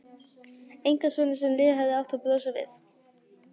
Einkasonar sem lífið hefði átt að brosa við?